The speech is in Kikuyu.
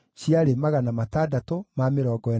Maarĩ na mbarathi 736, na nyũmbũ 245,